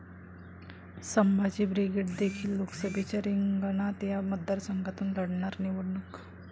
Sambhaji brigade देखील लोकसभेच्या रिंगणात, 'या' मतदारसंघातून लढणार निवडणूक